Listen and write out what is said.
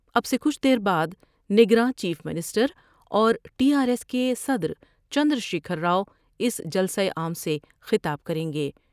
اب سے کچھ دیر بعد نگراں چیف منسٹر اور ٹی آرایس کے صدر چندرشیکھر راؤ اس جلسہ عام سے خطاب کریں گے ۔